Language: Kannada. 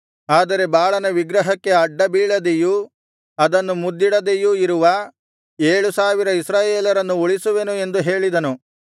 ಆದರೆ ಬಾಳನ ವಿಗ್ರಹಕ್ಕೆ ಅಡ್ಡಬೀಳದೆಯೂ ಅದನ್ನು ಮುದ್ದಿಡದೆಯೂ ಇರುವ ಏಳು ಸಾವಿರ ಇಸ್ರಾಯೇಲರನ್ನು ಉಳಿಸುವೆನು ಎಂದು ಹೇಳಿದನು